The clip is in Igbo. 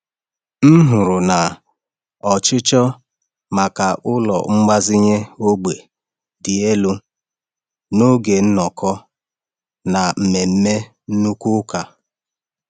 M hụrụ na ọchịchọ maka ụlọ mgbazinye ógbè dị elu n’oge nnọkọ na mmemme nnukwu ụka.